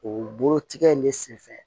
O bolotigɛ in ne senfɛ